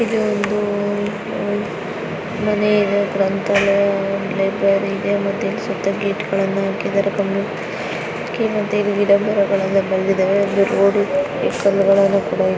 ಇದೊಂದು ಉ- ಮನೆ ಗ್ರಂಥಾಲಯ ಲೈಬ್ರರಿ ಇದೆ. ಮತ್ತೆ ಇಲ್ಲಿ ಸುತ್ತ ಗೇಟ್ ಗಳನ್ನ ಆಕಿದರೆ. ಕಮ್ ಕೆ ಮತ್ತೆ ಗಿಡ ಮರಗಳೆಲ್ಲ ಬೆಳೆದಿದಾವೆ. ಒಂದು ರೋಡು ಕಲ್ಗಳೆಲ್ಲ ಕೂಡ--